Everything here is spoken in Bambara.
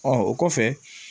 Ɔ o kɔfɛ